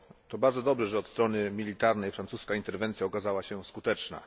To bardzo dobrze, że od strony militarnej francuska interwencja okazała się skuteczna.